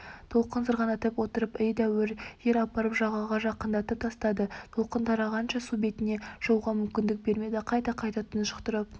толқын сырғанатып отырып едәуір жер апарып жағаға жақындатып тастады толқын тарағанша су бетіне шығуға мүмкіндік бермеді қайта-қайта тұншықтырып